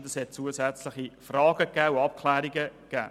Dies hat zusätzliche Fragen und Abklärungen erzeugt.